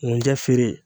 N tɛ feere